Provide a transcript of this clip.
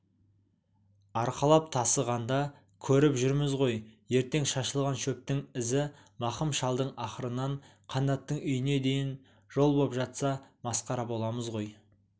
арқалап тасығанда көріп жүрміз ғой ертең шашылған шөптің ізі мақым шалдың ақырынан қанаттың үйіне дейін жол боп жатса масқара боламыз ғой